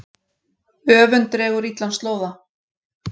Öfund dregur illan slóða.